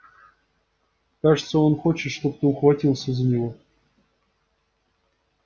кажется он хочет чтобы ты ухватился за него